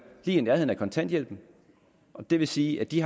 lige i nærheden af kontanthjælpen det vil sige at de